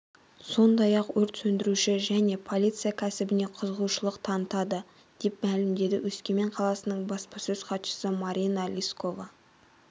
сондай-ақ өрт сөндіруші және полиция кәсібіне қызығушылық танытады деп мәлімдеді өскемен қаласының баспасөз-хатшысы марина лискова